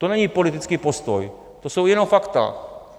To není politický postoj, to jsou jenom fakta.